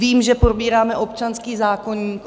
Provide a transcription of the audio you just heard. Vím, že probíráme občanský zákoník.